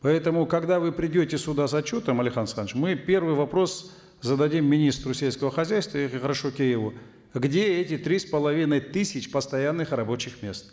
поэтому когда вы придете сюда с отчетом алихан асханович мы первый вопрос зададим министру сельского хозяйства карашокееву где эти три с половиной тысяч постоянных рабочих мест